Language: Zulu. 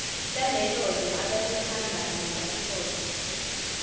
lalelozwe ababehamba ngepasipoti